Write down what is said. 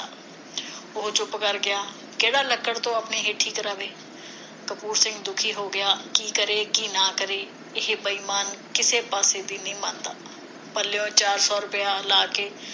ਉਹ ਚੁੱਪ ਕਰ ਗਿਆ ਕਿਹੜਾ ਲੱਕੜ ਤੋਂ ਕਰਾਵੇ ਕਪੂਰ ਸਿੰਘ ਦੁਖੀ ਹੋ ਗਿਆ ਕੀ ਕਰੇ ਕੀ ਨਾ ਕਰੇ ਇਹ ਬੇਈਮਾਨ ਕਿਸੇ ਪਾਸੇ ਵੀ ਨਹੀਂ ਮੰਨਦਾ ਪੱਲਿਓ ਚਾਰ ਸੌ ਰੁਪਇਆ ਲਾ ਕੇ